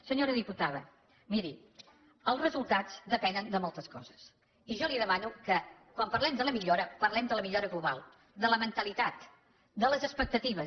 senyora diputada miri els resultats depenen de moltes coses i jo li demano que quan parlem de la millora parlem de la millora global de la mentalitat de les expectatives